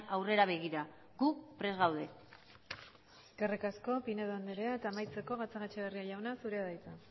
aurrera begira gu prest gaude eskerrik asko pinedo andrea eta amaitzeko gatzagaetxebarria jauna zurea da hitza